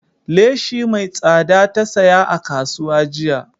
Leshi mai tsada ta saya a kasuwa jiya